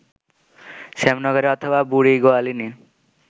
শ্যামনগরে অথবা বুড়িগোয়ালিনি